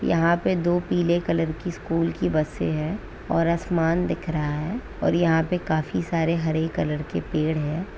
यहां पर दो पीले कलर की स्कूल की बसे है और आसमान दिख रहा हैऔर यहां पर काफी सारे हरे कलर के पेड़ है।